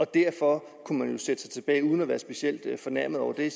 derfor kunne sætte sig tilbage uden at være specielt fornærmet over det